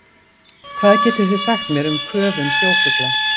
Hvað getið þið sagt mér um köfun sjófugla?